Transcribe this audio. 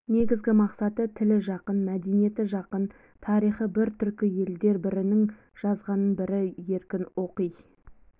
негізгі мақсаты тілі жақын мәдениеті жақын тарихы бір түркі елдер бірінің жазғанын бірі еркін оқи